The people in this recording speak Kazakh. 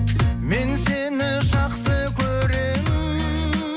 мен сені жақсы көремін